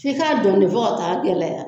F'i k'a don de de fo ka t'a gɛlɛya